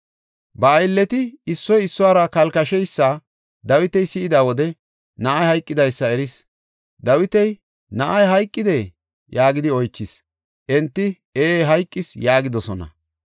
Ba aylleti issoy issuwara kalkasheysa Dawiti si7ida wode na7ay hayqidaysa eris. Dawiti, “Na7ay hayqidee?” yaagidi oychis. Enti, “Ee hayqis” yaagidosona.